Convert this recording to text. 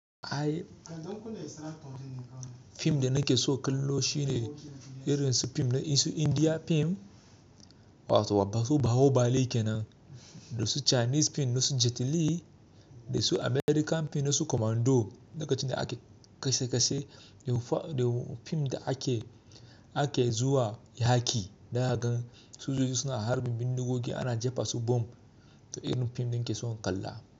Ai fim da nake so ka lo shi ne irin su fim na su India fim wato babba su baho bale kenan, da su Chinese fim na su Jet Li, da su American fim na su Commando, lokacin da ake kashe kashe, fim da ake, ake zuwa ya yaki, daga su sojoji suna harbin bindigogi ana jefa su bomb to irin fim da nake so in kalla.